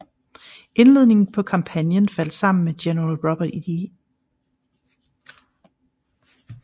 Indledningen på kampagnen faldt sammen med general Robert E